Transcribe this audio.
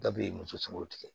Dabiri muso sunw tigɛ